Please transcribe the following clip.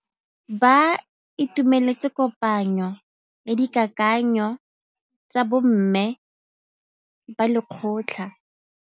Ba itumeletse kôpanyo ya dikakanyô tsa bo mme ba lekgotla.